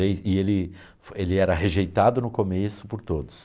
Ei e ele ele era rejeitado no começo por todos.